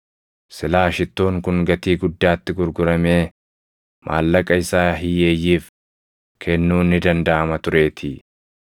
Silaa shittoon kun gatii guddaatti gurguramee maallaqa isaa hiyyeeyyiif kennuun ni dandaʼama tureetii.”